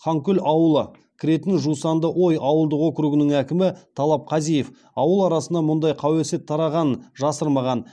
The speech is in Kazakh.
ханкөл ауылы кіретін жусандыой ауылдық округының әкімі талап қазиев ауыл арасында мұндай қауесет тарағанын жасырмаған